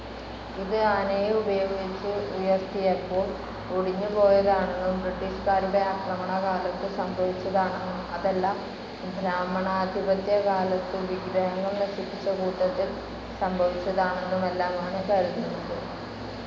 ഇത് ആനയെ ഉപയോഗിച്ച് ഉയർത്തിയപ്പോൾ ഒടിഞ്ഞുപോയതാണെന്നും ബ്രിട്ടീഷുകാരുടെ ആക്രമണകാലത്തു സംഭവിച്ചതാണെന്നും അതല്ല ബ്രാഹ്മണാധിപത്യകാലത്തു വിഗ്രഹങ്ങൾ നശിപ്പിച്ച കൂട്ടത്തിൽ സംഭവിച്ചതാണെന്നുമെല്ലാമാണ് കരുതുന്നത്.